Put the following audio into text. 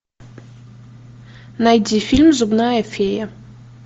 найди фильм зубная фея